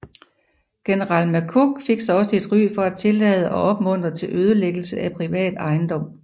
General McCook fik sig også et ry for at tillade og opmundre til ødelæggelse af privat ejendom